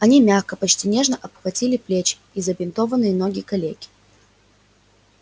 они мягко почти нежно обхватили плечи и забинтованные ноги калеки